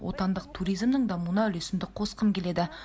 отандық туризмнің дамуына үлесімді қосқым келеді